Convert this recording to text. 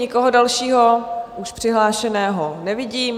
Nikoho dalšího už přihlášeného nevidím.